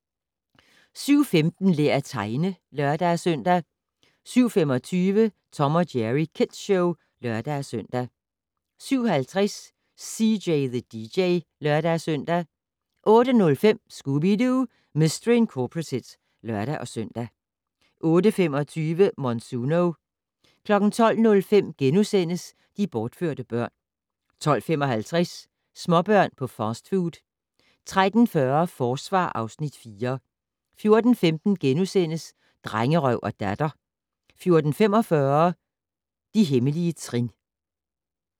07:15: Lær at tegne (lør-søn) 07:25: Tom & Jerry Kids Show (lør-søn) 07:50: CJ the DJ (lør-søn) 08:05: Scooby-Doo! Mistery Incorporated (lør-søn) 08:25: Monsuno 12:05: De bortførte børn * 12:55: Småbørn på fastfood 13:40: Forsvar (Afs. 4) 14:15: Drengerøv og Datter * 14:45: De hemmelige trin